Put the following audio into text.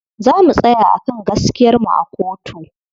Za mu tsaya a kan gaskiyar mu a kotu.